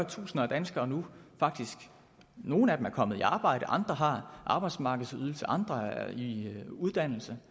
tusinder af danskere nogle af dem er kommet i arbejde andre har arbejdsmarkedsydelse og andre igen er i uddannelse